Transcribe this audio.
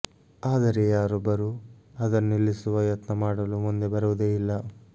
ಆದರೆ ಯಾರೊಬ್ಬರೂ ಅದನ್ನು ನಿಲ್ಲಿಸುವ ಯತ್ನ ಮಾಡಲು ಮುಂದೆ ಬರುವುದೇ ಇಲ್ಲ